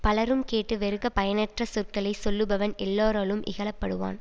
பலரும் கேட்டு வெறுக்கப் பயனற்ற சொற்களை சொல்லுபவன் எல்லோராலும் இகழ படுவான்